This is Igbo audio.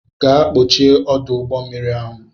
Gaa kpọchie ọdụ ụgbọmmiri ahụ!